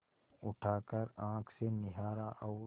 उठाकर आँख से निहारा और